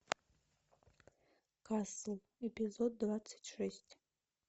касл эпизод двадцать шесть